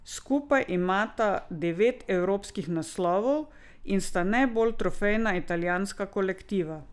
Skupaj imata devet evropskih naslovov in sta najbolj trofejna italijanska kolektiva.